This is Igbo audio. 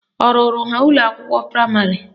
Ọ rụrụ ha ụlọakwụkwọ praịmarị?